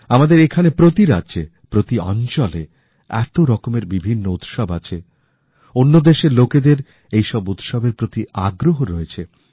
আমাদের এখানে প্রতি রাজ্যে প্রতি অঞ্চলে এত রকমের বিভিন্ন উৎসব আছে অন্য দেশের লোকেদের এই সব উৎসবের প্রতি আগ্রহ রয়েছে